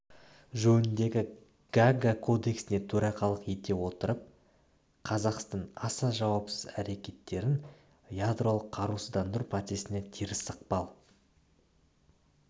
жөніндегі гаага кодексіне төрағалық ете отырып қазақстан аса жауапсыз әрекеттерін ядролық қарусыздандыру процесіне теріс ықпал